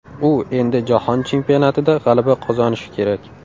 U endi Jahon Chempionatida g‘alaba qozonishi kerak.